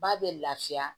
Ba bɛ lafiya